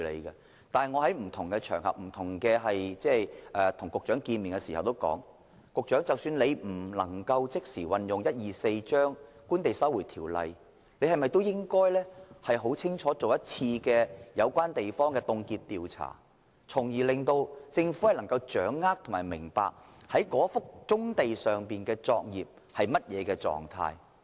然而，我在不同場合亦曾向局長表示，即使當局不能即時引用《收回土地條例》，但是否應該先進行一次有關土地的凍結調查，讓政府能夠更清楚掌握某幅棕地上的作業處於甚麼狀態？